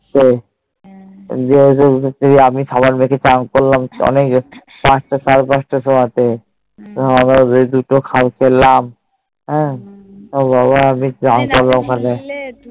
সেই দিয়ে আমি সাবান মেখে চান করলাম অনেক সেই পাঁচ তা সাড়ে পাঁচটা সময় তে তারপরে ঐডি দুটো খাই ফেলাম হ্যাঁ বাবা আছেন করলাম ওখানে